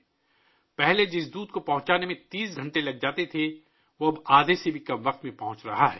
پہلے جو دودھ پہنچنے میں 30 گھنٹے لگتے تھے ، اب آدھے سے بھی کم وقت میں پہنچ رہے ہیں